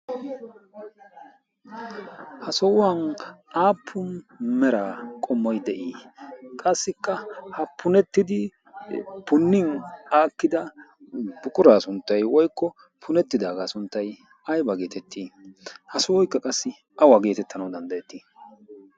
ha sohuwan aappu mera qommoi de'ii qassikka ha punettidi punnin aakkida buquraa sunttay woykko punettidaagaa sunttay ayba geetettii? ha sohoykka qassi awa geetettanau danddayettii?